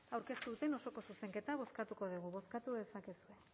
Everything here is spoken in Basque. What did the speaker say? aurkeztu duten osoko zuzenketa bozkatuko dugu bozkatu dezakegu